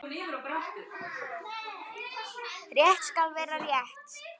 Rétt skal vera rétt.